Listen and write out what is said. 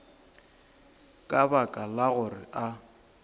ka baka la gore a